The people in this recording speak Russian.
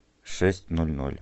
шесть ноль ноль